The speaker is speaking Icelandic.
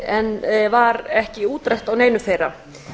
en var ekki útrætt á neinu þeirra